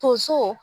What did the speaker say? Tonso